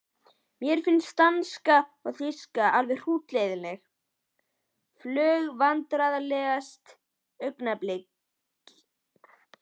Mér finnst danska og þýska alveg hrútleiðinleg fög Vandræðalegasta augnablik?